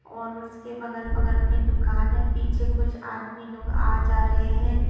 और उसके बगल-बगल में दुकान है पीछे कुछ आदमी लोग आ जा रहे हैं।